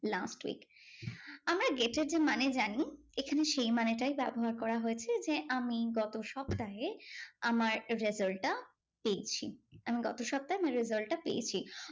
Last week আমরা get এর যে মানে জানি এখানে সেই মানেটাই ব্যবহার করা হয়েছে যে, আমি গত সপ্তাহে আমার result টা পেয়েছি। আমি গত সপ্তাহে আমার result টা পেয়েছি।